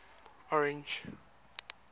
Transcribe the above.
orange